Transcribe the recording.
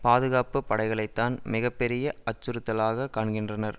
பாதுகாப்பு படைகளைத்தான் மிக பெரிய அச்சுறுத்தலாக காண்கின்றனர்